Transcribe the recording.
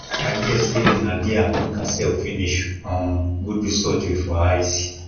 i hear say nadia look herself finish um go do surgery for eyes